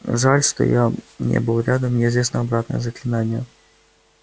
жаль что я не был рядом мне известно обратное заклинание